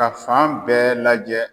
fan bɛɛ lajɛ.